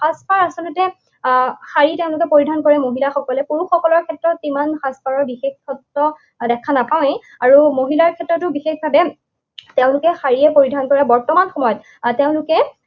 সাজপাৰ আচলতে আহ শাৰী তেওঁলোকে পৰিধান কৰে মহিলাসকলে, পুৰুষসকলৰ ক্ষেত্ৰত ইমান সাজপাৰৰ বিশেষত্ব দেখা নাপাওঁৱেই। আৰু মহিলাৰ ক্ষেত্ৰতো বিশেষভাৱে তেওঁলোকে শাৰীয়েই পৰিধান কৰে। বৰ্তমান সময়ত আৰু তেওঁলোকে